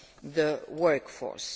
or to re enter